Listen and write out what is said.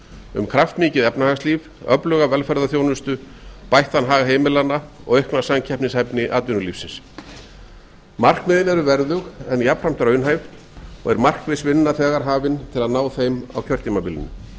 um kraftmikið efnahagslíf öfluga velferðarþjónustu bættan hag heimilanna og aukna samkeppnishæfni atvinnulífsins markmiðin eru verðug en jafnframt raunhæf og er markmðsvinna þegar hafin til að ná þeim á kjörtímabilinu